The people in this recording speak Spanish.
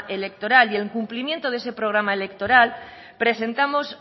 electoral y en cumplimiento de ese programa electoral presentamos